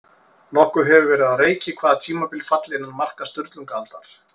Nokkuð hefur verið á reiki hvaða tímabil falli innan marka Sturlungaaldar.